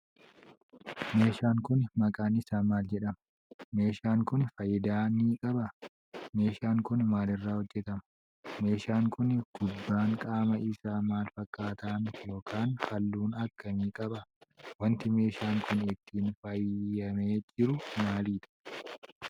Meeshaan Kuni maqaan isaa maal jedhama?.meeshaan Kuni faayidaa ni qabaa?. Meeshaan Kuni maalirraa hojjatama?.meeshaan Kuni gubbaan qaama Isaa maal fakkaatan yookaan halluu akkamii qaba?.wanti meeshaan Kuni ittiin faayamee jiru maalidha?